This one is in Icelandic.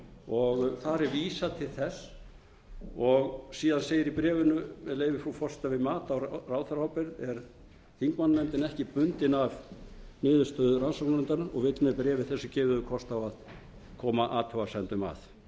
og þar er vísað til þess síðan segir í bréfinu með leyfi frú forseta við mat á ráðherraábyrgð er þingmannanefndin ekki bundin af niðurstöðu rannsóknarnefndarinnar og vill með bréfi þessu gefa yður kost á að koma athugasemdum að